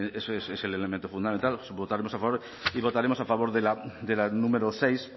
es el elemento fundamental votaremos a favor y votaremos a favor de la número seis